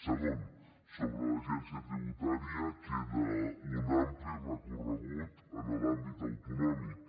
segon sobre l’agència tributària queda un ampli recorregut en l’àmbit autonòmic